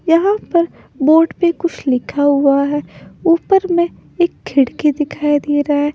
यहा पर बोर्ड पे कुछ लिखा हुआ है ऊपर में एक खिड़की दिखाई दे रहा है।